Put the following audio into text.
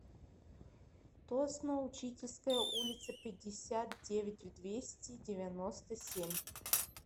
тосно учительская улица пятьдесят девять в двести девяносто семь